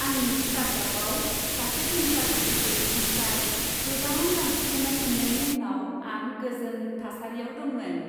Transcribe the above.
आंनि स्टार्टआपआव सासे भेन्सार केपिटेलिस्टनिफ्राय गोबां रां थिसन्नाय मोन्नायनि उनाव आं गोजोन थासारियाव दंमोन।